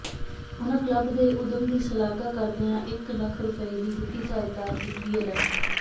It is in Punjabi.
ਉਨ੍ਹਾਂ ਕਲੱਬ ਦੇ ਉੱਦਮ ਦੀ ਸ਼ਲਾਘਾ ਕਰਦਿਆਂ ਇੱਕ ਲੱਖ ਰੁਪਏ ਦੀ ਵਿੱਤੀ ਸਹਾਇਤਾ ਵੀ ਐਲਾਨੀ